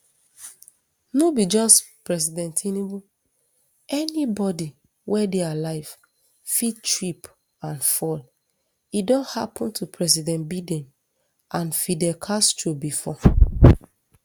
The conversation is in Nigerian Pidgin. no be just president tinubu anybodi wey dey alive fit trip and fall e don happun to president biden and fidel castro bifor